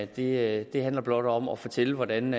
det det handler blot om at fortælle hvordan